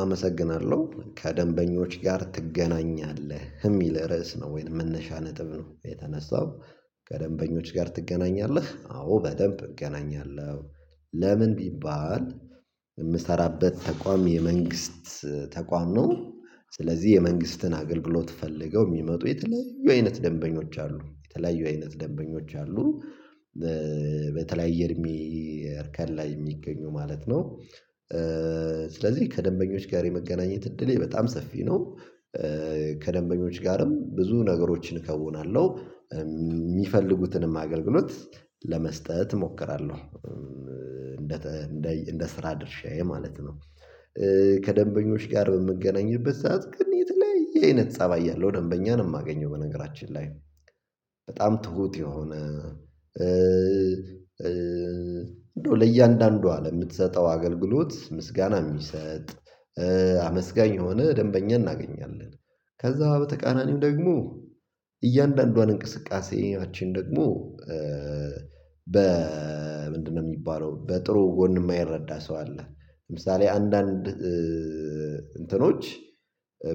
አመሰግናለሁ ከደንበኞች ጋር ትገናኛለህ የሚል ርዕስ ነው ወይንም መነሻ ነጥብ ነው የተነሳው። ከደንበኞች ጋር ትገናኛለህ አዎ በደንብ እገናኛለሁ። ለምን ቢባል የምሰራበት ተቋም የመንግስት ተቋም ነው። ስለዚህ የመንግስትን አገልግሎት ፈልገው የሚመጡ የተለያዩ አይነት ደንበኞች አሉ የተለያዩ አይነት ደንበኞች አሉ። በተለያየ እድሜ እርከን ላይ የሚገኙ ማለት ነው። ስለዚህ ከደንበኞች ጋር የመገናኘት እድሌ በጣም ሰፊ ነው። ከደንበኞች ጋርም ብዙ ነገሮችን እከውናለሁ የሚፈልጉትንም አገልግሎት ለመስጠት እሞክራለሁ። እንደ እንደ እንደ ስራ ድርሻዬ ማለት ነው። ከደንበኞች ጋር በምገናኝበት ሰዓት ግን የተለያየ የአይነት ፀባይ ያለው ደንበኛንም አገኘው በነገራችን ላይ በጣም ትሁት የሆነ እንደው ለእያንዳንዱ አለ የምትሰጠው አገልግሎት ምስጋና የሚሰጥ አመስጋኝ የሆነ ደንበኛ እናገኛለን። ከዛ በተቃናኒው ደግሞ እያንዳንዷን እንቅስቃሴያችን ደግሞ በ ምንድነው የሚባለው በጥሩ ጎን የማይረዳ ሰው አለ። ለምሳሌ አንዳንድ እንትኖች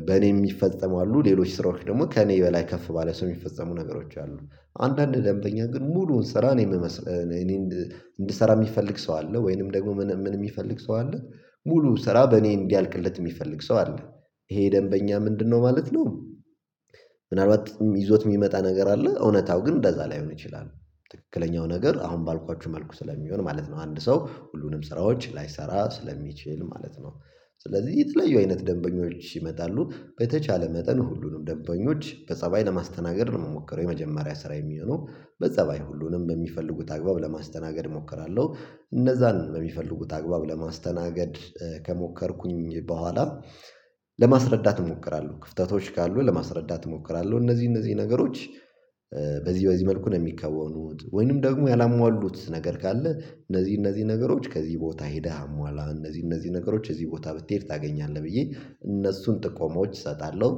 በእኔ የሚፈጸሙ አሉ ሌሎች ስራዎች ደግሞ ከእኔ በላይ ከፍ ባለ ሰው የሚፈጸሙ ነገሮች አሉ። አንዳንድ ደንበኛ ግን ሙሉውን ስራ እኔ የምመስ እኔ እንድሰራ የሚፈልግ ሰው አለ ወይንም ደግሞ ምን የሚፈልግ ሰው አለ። ሙሉ ስራ በእኔ እንዲያልቅለት የሚፈልግ ሰው አለ። ይሄ ደንበኛ ምንድነው ማለት ነው? ምናልባት ይዞት የሚመጣ ነገር አለ እውነታው ግን እንደዛ ላይሆን ይችላል። ትክክለኛው ነገር አሁን ባልኳችሁ መልኩ ስለሚሆን ማለት ነው አንድ ሰው ሁሉንም ስራዎች ላይሰራ ስለሚችል ማለት ነው። ስለዚህ የተለዩ አይነት ደንበኞች ይመጣሉ በተቻለ መጠን ሁሉንም ደንበኞች በጸባይ ለማስተናገድ ነው የምሞከረው የመጀመሪያ ስራ የሚሆነው በጸባይ ሁሉንም በሚፈልጉት አግባብ ለማስተናገድ እሞክራለሁ። እነዛን በሚፈልጉት አግባብ ለማስተናገድ ከሞከርኩኝ በኋላ ለማስረዳት እሞክራለሁ ክፍተቶች ካሉ ለማስረዳት እሞክራለሁ እነዚህ እነዚህ ነገሮች በዚህ በዚህ መልኩ ነው የሚከወኑት ወይንም ደግሞ ያላሟሉት ነገር ካለ እነዚህ እነዚህ ነገሮች ከዚህ ቦታ ሄደህ አሟላህ እነዚህ እነዚህ ነገሮች እዚህ ቦታ ብትሄድ ታገኛለህ ብዬ እነሱን ጥቆሞች እሰጣለሁ።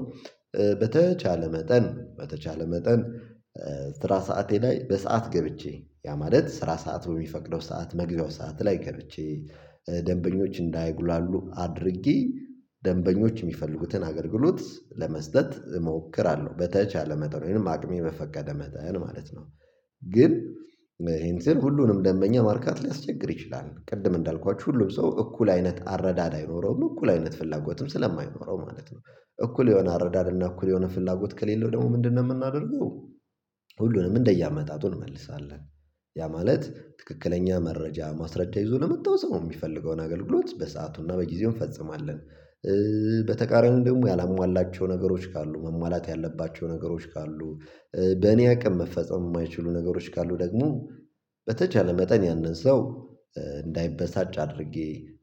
በተቻለ መጠን በተቻለ መጠን ስራ ሰዓቴ ላይ በሰአት ገብቼ ያ ማለት ስራ ሰዓት በሚፈቅደው ሰዓት መግቢያው ሰዓት ላይ ገብቼ ደንበኞች እንዳይጉላሉ አድርጊ ደንበኞች የሚፈልጉትን አገልግሎት ለመስጠት እሞክራለሁ በተቻለ መጠን አቅሜ መፈቀደ መጠን ማለት ነው። ግን ይሄን ስር ሁሉንም ደንበኛ ማርካት ሊያስቸግር ይችላል ቅድም እንዳልኳችሁ ሁሉም ሰው እኩል አይነት አረዳድ አይኖረውም እኩል አይነት ፍላጎትም ስለማይኖረው ማለት ነው። እኩል የሆነ አረዳድ እና እኩል የሆነ ፍላጎት ከሌለው ደግሞ ምንድነው የምናደርገው? ሁሉንም እንደየአመጣጡ እንመልሳለን። ያ ማለት ትክክለኛ መረጃ ማስረጃት ይዞ ለመጣው ሰው የሚፈልገውን አገልግሎት በሰአቱና በጊዜው እንፈጽማለን። በተቃራኒው ደግሞ ያላሟላቸው ነገሮች ካሉ መሟላት ያለባቸው ነገሮች ካሉ በእኔ አቅም መፈጸም የማይችሉ ነገሮች ካሉ ደግሞ በተቻለ መጠን ያንን ሰው እንዳይበሳጭ አድርጌ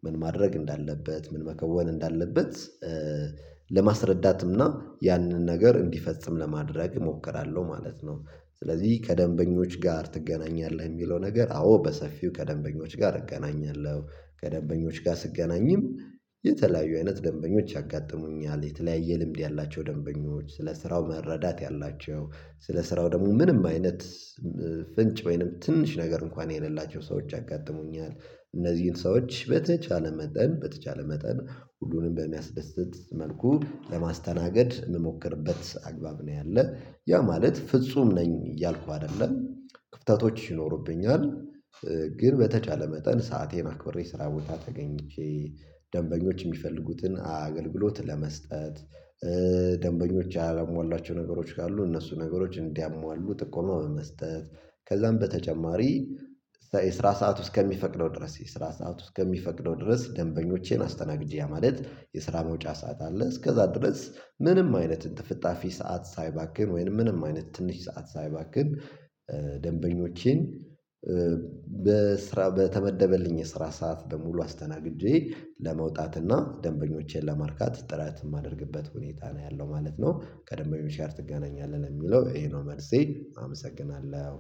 ምን ማድረግ እንዳለበት ምን መከወን እንዳለበት ለማስረዳትምና ያንን ነገር እንዲፈጽም ለማድረግ እሞክራለሁ ማለት ነው። ስለዚህ ከደንበኞች ጋር ትገናኛለህ የሚለው ነገር አዎ በሰፊው ከደንበኞች ጋር እገናኛለሁ። ከደንበኞች ጋር ስገናኝም የተለያዩ አይነት ደንበኞች ያጋጥሙኛል የተለያየ ልምድ ያላቸው ደንበኞች ስለ ስራው መረዳት ያላቸው ስለ ስራው ምንም አይነት ፍንጭ ወይንም ትንሽ ነገር እንኳን የሌላቸው ሰዎች ያጋጥሙኛል። እነዚህን ሰዎች በተቻለ መጠን በተቻለ መጠን ሁሉንም በሚያስደስት መልኩ ለማስተናገድ የምሞክርበት አግባብ ነው ያለ ያ ማለት ፍጹም ነኝ እያልኩ አይደለም። ክፍተቶች ይኖርብኛል ግን በተቻለ መጠን ሰአቴን አክብሬ ስራ ቦታ ተገኝቼ ደንበኞች የሚፈልጉትን አገልግሎት ለመስጠት። ደንበኞች ያላሟላቸው ነገሮች ካሉ እነሱ ነገሮች እንዲያሟሉ ጥቆማ በመስጠት ከዛም በተጨማሪ የስራ ሰዓት ውስጥ ከሚፈቅደው ድረስ የስራ ሰዓት ውስጥ ከሚፈቅደው ድረስ ደንበኞቼን አስተናግጂ ያ ማለት የስራ መውጫ ሰዓት አለ እስከዛ ድረስ ምንም አይነት እንጥፍጣፊ ሰዓት ሳይባክን ወይንም ምንም አይነት ትንሽ ሰዓት ሳይባክን ደንበኞቼን በስራ በተመደበልኝ የስራ ሰዓት በሙሉ አስተናግጄ ለመውጣት እና ደንበኞቼን ለማርካት ጥረት የማደርግበት ሁኔታ ነው ያለው ማለት ነው። ከደንብኞች ጋር ትገናኛለህ የሚለው ይሄ ነው መልሴ። አመሰግናለሁ